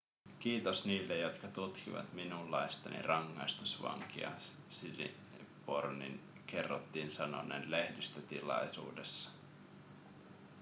kiitos niille jotka tukivat minunlaistani rangaistusvankia siripornin kerrottiin sanoneen lehdistötilaisuudessa